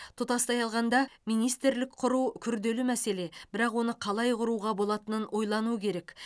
тұтастай алғанда министрлік құру күрделі мәселе бірақ оны қалай құруға болатынын ойлану керек